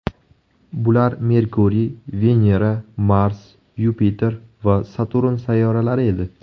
Bular Merkuriy, Venera, Mars, Yupiter va Saturn sayyoralari edi.